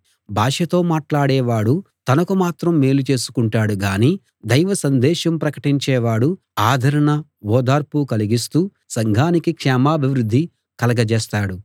భాషతో మాట్లాడేవాడు తనకు మాత్రం మేలు చేసుకుంటాడు గాని దైవసందేశం ప్రకటించేవాడు ఆదరణ ఓదార్పు కలిగిస్తూ సంఘానికి క్షేమాభివృద్ధి కలగజేస్తాడు